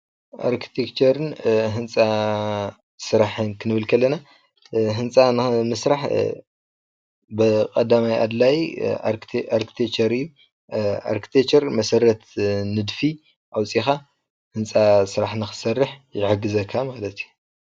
ኤርቴክቴክቸርን ህንፃ ስራሕን ኽንብል ከለና ህንፃ ንምስራሕ ቀዳማይ ኣድላይ ኤርቴክቴክቸር እዩ። ኤርቴክቴክቸር መሰረት ንድፊ ኣውፂእኻ ህንፃ ስራሕ ንኽትሰርሕ ይሕግዘካ ማለት እዩ።